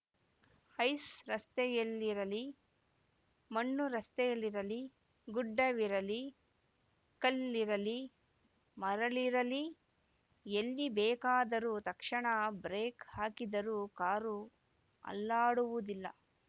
ice ರಸ್ತೆಯಲ್ಲಿರಲಿ ಮಣ್ಣು ರಸ್ತೆಯಿರಲಿ ಗುಡ್ಡವಿರಲಿ ಕಲ್ಲಿರಲಿ ಮರಳಿರಲಿ ಎಲ್ಲಿ ಬೇಕಾದರೂ ತಕ್ಷಣ ಬ್ರೇಕ್‌ ಹಾಕಿದರೂ ಕಾರು ಅಲ್ಲಾಡುವುದಿಲ್ಲ